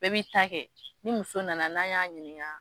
Bɛɛ b'i ta kɛ, ni muso nana n'an y'a ɲininka